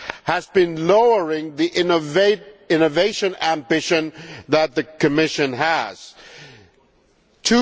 has been lowering the innovation ambition that the Commission has set.